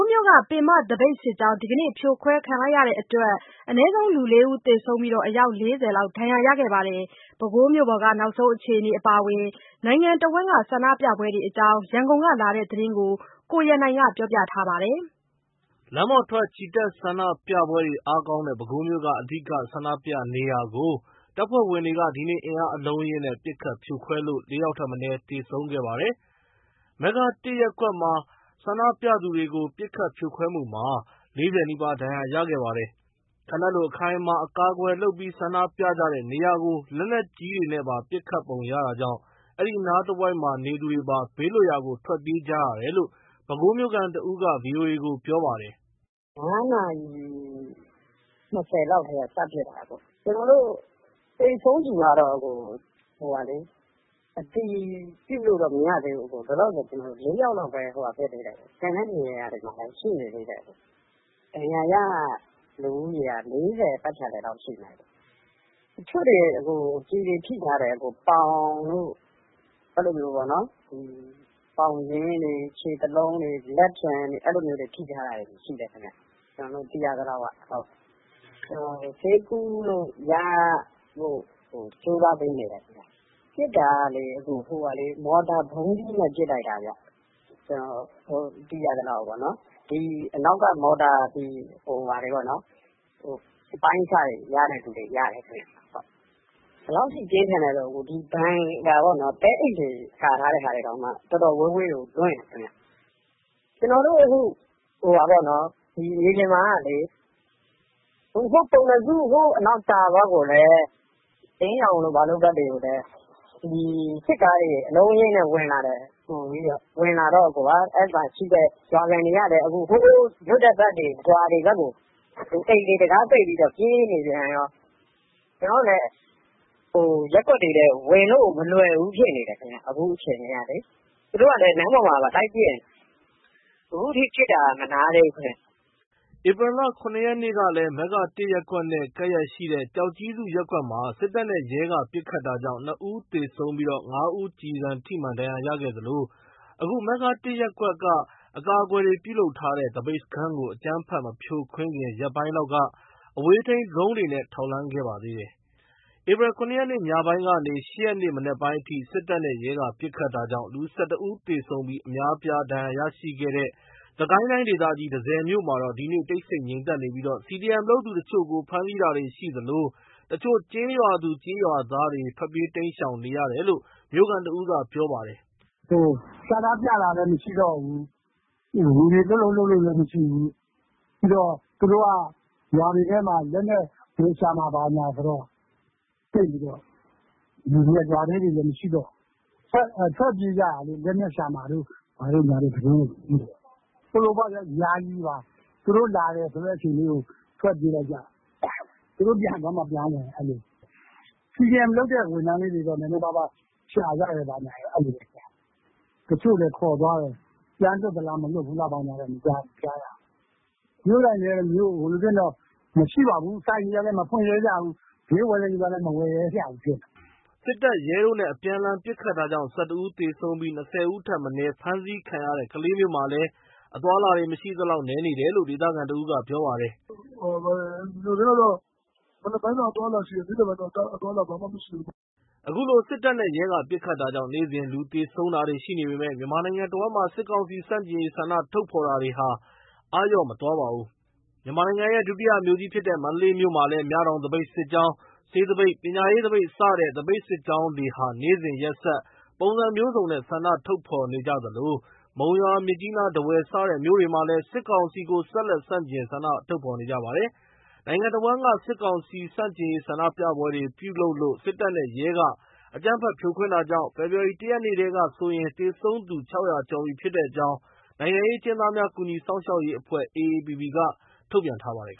းမြို့က ပင်မသပိတ်စစ်ကြောင်း ဒီနေ့ ဖြိုခွဲခံရတဲ့အတွက် ၄ဦးထက်မနည်း သေဆုံးပြီး အယောက် ၄၀ လောက် ဒဏ်ရာရခဲ့ပါတယ်။ ပဲခူးမြို့က နောက်ဆုံးအခြေအနေအပါအဝင် နိုင်ငံတဝန်းက ဆန္ဒပြပွဲတွေအကြောင်း ရန်ကုန်ကလာတဲ့သတင်းကို ကိုရန်နိုင်က ပြောပြထားပါတယ်။ လမ်းပေါ်ထွက် ချီတက်ဆန္ဒပြပွဲတွေအားကောင်းတဲ့ ပဲခူးမြို့က အဓိက ဆန္ဒပြနေရာကို တပ်ဖဲ့ွဝင်တွေက ဒီနေ့ အင်အားအလုံးအရင်းနဲ့ ပစ်ခတ် ဖြိုခွဲလို့ ၄ ယောက်ထက် မနည်း သေဆုံးခဲ့ပါတယ်။ မဂ္ဂတစ်ရပ်ကွက်မှာ ဆန္ဒပြသူတွေကို ပစ်ခတ်ဖြိုခွဲမှုမှာ ၄၀ နီးပါး ဒဏ်ရာရခဲ့ပါတယ်။ ခံတပ်လိုအခိုင်အမာအကာအကွယ်လုပ်ပြီး ဆန္ဒပြကြတဲ့ နေရာကို လက်နက်ကြီးတွေနဲ့ပါ ပစ်ခတ်ပုံရတာကြောင့် အဲဒီအနားတဝိုက် နေသူတွေပါ ဘေးလွတ်ရာကို ထွက်ပြေးကြရတယ်လို့ ပဲခူးမြို့ခံတဦးက ဗွိအိုအေကို ပြောပါတယ်။ “၅ နာရီ ၂၀ လောက်ကတည်းက စပစ်တာ။ သေဆုံးသူကတော့ လောလောဆယ် ၄ ယောက်လောက်ပဲ အတည်ပြုလို့ရသေးတယ်။ ကျန်တဲ့နေရာမှာလည်း ရှိသေးတယ်။ ဒဏ်ရာရ လူဦးရေက ၄၀ ပတ်ချာလည်လောက်ရှိမယ်။ တချို့တွေ ကျည်တွေထိထားတယ်။ ပေါင်တို့ ပေါင်ရင်းတွေ ခြေသလုံးတွေ လက်ဖျံတွေ အဲ့လိုထိထားတာတွေရှိတယ်။ ဆေးကုလို့ရဖို့ကို ကြိုးစားပေးနေတယ်။ ပစ်တာက မော်တာ ဗုံးသီးနဲ့ ပစ်လိုက်တာ ကျနော်တို့ သိရသလောက်။ အနောက်က မော်တာ အပိုင်းအစတွေရတဲ့သူတွေ ရတယ်ခင်ဗျ။ ဘယ်လောက်ထိ ပြင်းထန်လဲဆိုရင် ဘန်ကာပေါ့နော် သဲအိတ်တွေကာထားတဲ့ဟာတောင်မှ တော်တော် ဝေးဝေးကို လွင့်တယ်ခင်ဗျ။ ကျွန်တော်တို့အခု မြေပြင်မှာကလေ ကျွန်တော်တို့ ပုဏ္ဏစု တာပေါက် အလင်းရောင်တို့ဘက်တွေကိုလည်း အလုံးအရင်းနဲ့ဝင်လာတယ်။ ဝင်လာတော့ မြို့ခံတွေကလည်း လွတ်တဲ့ဘက်တွေ ရွာတွေဘက်ကို အိမ်တွေတံခါးပိတ်ပြီး ပြေးနေပြန်ရော။ ကျနော်တို့လည်း ရပ်ကွက်တွေထဲကို ဝင်လို့ မလွယ်ဘူးဖြစ်နေတယ်။ အခုအခြေအနေက သူတို့က လမ်းပေါ်မှာပါ လိုက်ပစ်နေတယ်။ အခုထိ ပစ်တာ မနားသေးဘူးခင်ဗျ။” ဧပြီလ ၇ ရက်နေ့ကလည်း မဂ္ဂတစ် ရပ်ကွက်နဲ့ ကပ်လျက်ရှိတဲ့ ကျောက်ကြီးစု ရပ်ကွက်မှာ စစ်တပ်နဲ့ ရဲက ပစ်ခတ်တာကြောင့် ၂ ဦး သေဆုံးကာ ၅ ဦး ကျည်ဆံထိမှန် ဒဏ်ရာရရှိခဲ့သလို အခု မဂ္ဂတစ်ရပ်ကွက်က အကာအကွယ်တွေနဲ့ ပြုလုပ်ထားတဲ့ သပိတ်စခန်းကို အကြမ်းဖက်မဖြိုခွင်းခင် ရက်ပိုင်းလောက်က အဝေးထိန်းဒရုန်းတွေနဲ့ ထောက်လှမ်းခဲ့ပါသေးတယ်။ ဧပြီ ၇ ရက် ညပိုင်းကနေ ၈ ရက်နေ့ မနက်ပိုင်းအထိ စစ်တပ်နဲ့ ရဲက ပစ်ခတ်တာကြောင့် လူ ၁၁ ဦး သေဆုံးပြီး အများအပြား ဒဏ်ရာရရှိခဲ့တဲ့ စစ်ကိုင်းတိုင်းဒေသကြီး တန့်ဆည်မြို့မှာတော့ ဒီနေ့ တိတ်ဆိတ် ငြိမ်သက်နေပြီး CDM လုပ်သူတချို့ကို ဖမ်းဆီးတာတွေရှိသလို တချို့ကျေးရွာသူ ကျေးရွာသားတွေ ထွက်ပြေး တိမ်းရှောင်နေရတယ်လို့ မြို့ခံတဦးက ပြောပါတယ်။ “ဆန္ဒပြတာလည်းမရှိတော့ဘူး။ လူတွေလှုပ်လှုပ်လည်းမရှိဘူး။ ပြီးတော့ သူတို့က ရွာတွေထဲမှာ လက်နက် ဝင်ရှာမယ်ဘာမယ်ဆိုတော့ လူတွေက ရွာထဲတွေလည်း မရှိတော့ဘူး။ ထွက်ပြေးကြတာလေ လက်နက်ရှာမှာ တို့ဘာတို့ သတင်းတွေက ထွက်နေတော့။ ယာယီပါ သူတို့လာမယ်ဆိုတဲ့အချိန်လေးကို ထွက်ပြေးလိုက်ကြ သူတို့ ပြန်သွားမှ ပြန်ဝင် CDM လုပ်တဲ့ ဝန်ထမ်းလေးတွေ ဘာတွေရှာကြဘာကြ အဲ့လိုတော့ရှိတယ်။ တချို့လည်း ခေါ်သွားတယ်။ ပြန်လွှတ်လား ဘာလားဆိုတာတော့ မကြားရဘူး။ ဈေးဆိုင်တွေကလည်း မဖွင့်ရဲကြဘူး။ ဈေးဝယ်တဲ့သူကလည်း မဝယ်ရဲကြဘူးဖြစ်နေတာ။” စစ်တပ်၊ ရဲတို့နဲ့ အပြန်အလှန် ပစ်ခတ်တာကြောင့် ၁၁ ဦး သေဆုံးပြီး ၂၀ ဦးထက်မနည်း ဖမ်းဆီးခံခဲ့ရတဲ့ ကလေးမြို့မှာလည်း အသွားအလာ မရှိသလောက် နည်းနေတယ်လို့ ဒေသခံတဦးကပြောပါတယ်။ “မြို့ထဲမှာ မနက်ပိုင်းတော့ အသွားအလာရှိတယ်။ နေ့လည်ပိုင်းတော့ အသွားအလာ ဘာမှမရှိတောဘူးပေါ့။” အခုလို စစ်တပ်နဲ့ ရဲက ပစ်ခတ်တာကြောင့် နေ့စဉ် လူသေဆုံးတာရှိနေပေမယ့် မြန်မာနိုင်ငံတဝန်းမှာ စစ်ကောင်စီဆန့်ကျင်ရေး ဆန္ဒထုတ်ဖော်တာတွေဟာ အားလျော့မသွားပါဘူး။ မြန်မာနိုင်ငံရဲ့ ဒုတိယမြို့ကြီးဖြစ်တဲ့ မန္တလေးမြို့မှာလည်း မြတောင် သပိတ်စစ်ကြောင်း၊ ဆေးသပိတ်၊ ပညာရေးသပိတ် စတဲ့ သပိတ်စစ်ကြောင်းတွေဟာ နေ့စဉ်ရက်ဆက် ပုံစံမျိုးစုံနဲ့ ှဆန္ဒထုတ်ဖော်နေ သလို မုံရွာ မြစ်ကြီးနား ထားဝယ် စတဲ့မြို့တွေမှာလည်း စစ်ကောင်စီကို ဆက်လက် ဆန့်ကျင် ဆန္ဒထုတ်ဖော်နေကြပါတယ်။ နိုင်ငံတဝန်းမှာ စစ်ကောင်စီဆန့်ကျင်ရေး ဆန္ဒပြပွဲတွေ ပြုလုပ်လို့ စစ်တပ်နဲ့ ရဲက အကြမ်းဖက် ပစ်ခတ်ဖြိုခွင်းတာကြောင့် ဖေဖော်ဝါရီ ၁ ရက်နေ့ထဲကဆိုရင် သေဆုံးသူ ၆၀၀ ကျော်ပြီဖြစ်တဲ့အကြောင်း နိုင်ငံရေးအကျဉ်းသားများကူညီစောင့်ရှောက်ရေးအဖွဲ့ (AAPP) က ထုတ်ပြန်ထားပါတယ်